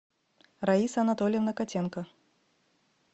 раиса анатольевна котенко